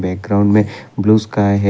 Background में blue sky है।